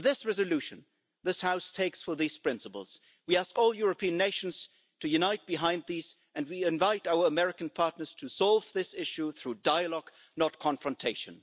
With this resolution this House takes forward these principles. We ask all European nations to unite behind this and we invite our American partners to solve this issue through dialogue, not confrontation.